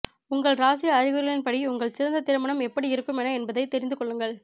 உங்கள் ராசி அறிகுறிகளின்படி உங்கள் சிறந்த திருமணம் எப்படி இருக்கும் என என்பதை பற்றி தெரிந்துகொள்ளுங்கள்